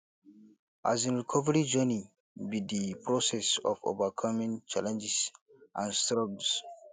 um recovery journey be di process of overcoming challenges and struggles